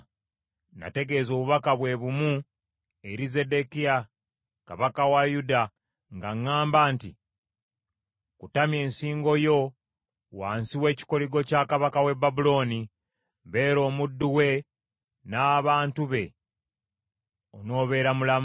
Nategeeza obubaka bwe bumu eri Zeddekiya kabaka wa Yuda nga ŋŋamba nti, “Kutamya ensingo yo wansi w’ekikoligo kya kabaka w’e Babulooni, beera omuddu we n’abantu be, onoobeera mulamu.